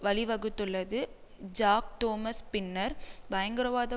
வழிவகுத்துள்ளது Jack Thomas பின்னர் பயங்கரவாத